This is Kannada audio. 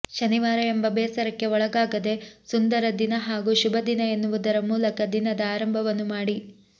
ಶನಿವಾರ ಎಂಬ ಬೇಸರಕ್ಕೆ ಒಳಗಾಗದೆ ಸುಂದರ ದಿನ ಹಾಗೂ ಶುಭ ದಿನ ಎನ್ನುವುದರ ಮೂಲಕ ದಿನದ ಆರಂಭವನ್ನು ಮಾಡಿ